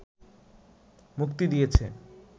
মুক্তি দিয়েছে